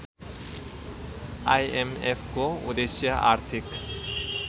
आइएमएफको उद्देश्य आर्थिक